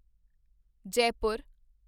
Jaipur